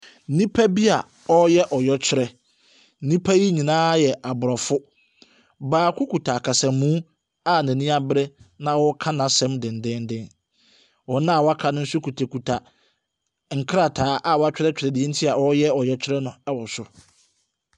Nnipa bi ɔreyɛ ɔyɛkyerɛ. Nnipa yi nyinaa yɛ Abrɔfo. Baako kita ɔkasamu a ɔreka n'asɛm dennennen. Wɔn aka no kitakita krataa a wɔatwerɛ nea nti wɔreyɛ ɔyɛkyerɛ no wɔ so.